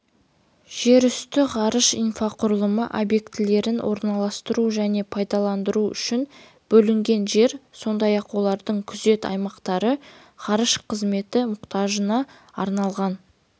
жерүсті ғарыш инфрақұрылымы объектілерін орналастыру және пайдалану үшін бөлінген жер сондай-ақ олардың күзет аймақтары ғарыш қызметі мұқтажына арналған